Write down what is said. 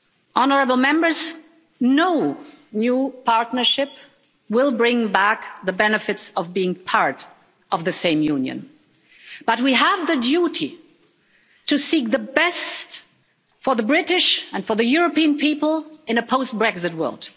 Honourable Members, no new partnership will bring back the benefits of being part of the same Union, but we have a duty to seek the best for the British and for the European people in a post Brexit world.